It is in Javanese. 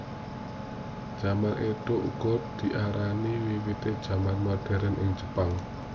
Jaman Édo uga diarani wiwitané jaman moderen ing Jepang